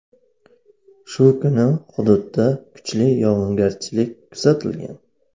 Shu kuni hududda kuchli yog‘ingarchilik kuzatilgan.